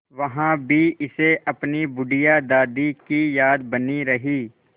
वहाँ भी इसे अपनी बुढ़िया दादी की याद बनी रही